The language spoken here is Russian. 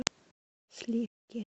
сливки